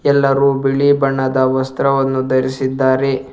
ಎಲ್ಲಾರು ಬಿಳಿ ಬಣ್ಣದ ವಸ್ತ್ರವನ್ನು ಧರಿಸಿದ್ದಾರೆ.